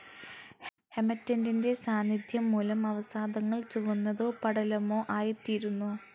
ഹെമറ്റെറ്റിൻ്റെ സാന്നിദ്ധ്യം മൂലം അവസാദങ്ങൾ ചുവന്നതോ പടലമോ ആയിത്തീരുന്നു.